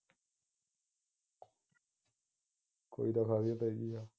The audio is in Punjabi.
ਕੋਈ ਤਾਂ ਗੱਲ